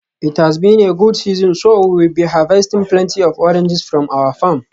It has been a good season so we will be harvesting plenty of oranges from our farm.